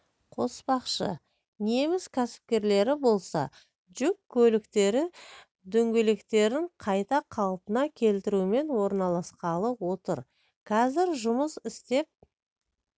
қоспақшы неміс кәсіпкерлері болса жүк көліктері дөңгелектерін қайта қалпына келтірумен айналысқалы отыр қазір жұмыс істеп